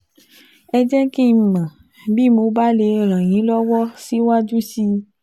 Ẹ jẹ́ kí n mọ̀ bí mo bá lè ràn yín lọ́wọ́ síwájú sí i